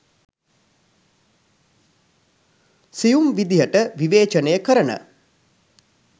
සියුම් විදියට විවේචනය කරන